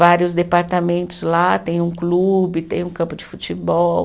Vários departamentos lá, tem um clube, tem um campo de futebol.